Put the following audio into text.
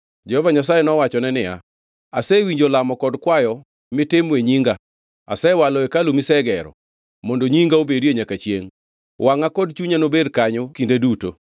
Jehova Nyasaye nowachone niya, “Asewinjo lamo kod kwayo mitimo e nyima; asewalo hekalu misegero, mondo Nyinga obedie nyaka chiengʼ. Wangʼa kod chunya nobed kanyo kinde duto.